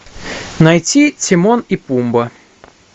найти тимон и пумба